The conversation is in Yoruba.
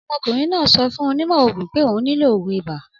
Ọmọkùnrin náà sọ fún onímọ̀ òògùn pé òun nílò òògùn ibà.